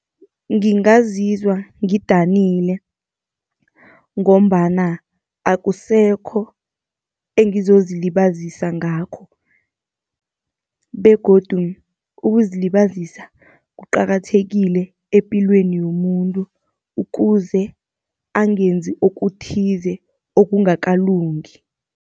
Ngingazizwa ngidanile, ngombana akusekho engizozilibazisa ngakho. Begodu ukuzilibazisa kuqakathekile epilweni yomuntu, ukuze angenzi okuthize okungakalungi.